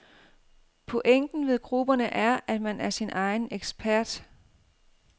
Pointen ved grupperne er, at man er sin egen ekspert.